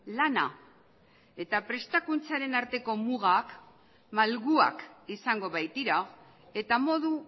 lana eta prestakuntzaren arteko mugak malguak izango baitira eta modu